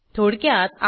थोडक्यात